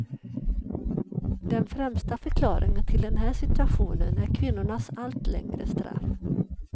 Den främsta förklaringen till den här situationen är kvinnornas allt längre straff.